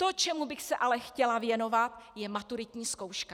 To, čemu bych se ale chtěla věnovat, je maturitní zkouška.